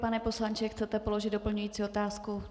Pane poslanče, chcete položit doplňující otázku?